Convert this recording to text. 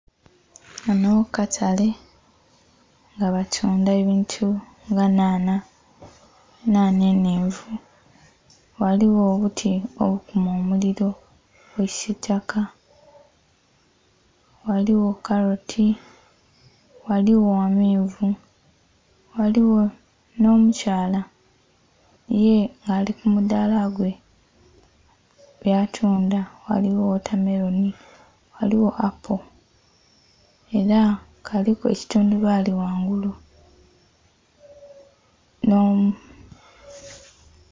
Kano katale nga batunda ebintu nga nhanha, nhanha enhenvu ghaliwo obuti obukuma omuliro bwa kisitaka ghaliwo kaloti ghaliwo amenvu ghaliwo n'omukyaala ye ali kumudaala gwe, watunda ghaliwo watermelon ghaliwo apple era kaliku ekitundubaali ghangulu